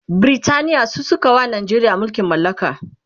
Britaniya su sukawa Najeriya mulkin mallaka